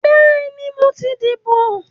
Bẹ́ẹ̀ni, mo ti dìbò